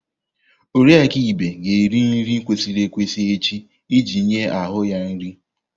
Oriakụ Ibe ga-eri nri kwesịrị ekwesị echi iji nye ahụ ya nri.